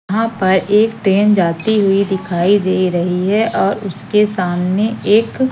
यहां पर एक ट्रेन जाती हुई दिखाई दे रही है और उसके सामने एक--